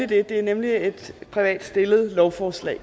det er nemlig et privat lovforslag